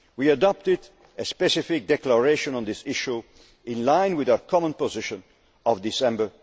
Union. We adopted a specific declaration on this issue in line with our common position of December